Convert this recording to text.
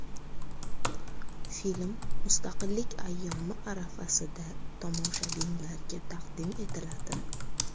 Film Mustaqillik ayyomi arafasida tomoshabinlarga taqdim etiladi.